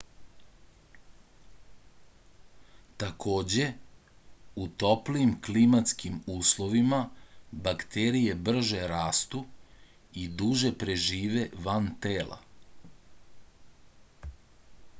takođe u toplijim klimatskim uslovima bakterije brže rastu i duže prežive van tela